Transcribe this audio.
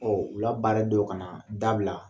Ɔn u la baara denw ka na da bila